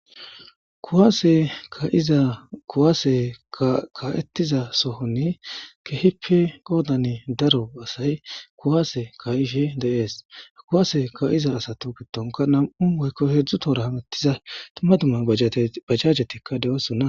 Kuwase ka'iza kuwase ka'etiza sohon keehippe qoodan daro asay kuwase ka'ishe de'ees. Kuwase ka'iza asatu gidonika nam'u tohora woyko heedzu tohira hametiza dumma dum a bajajeti doosona.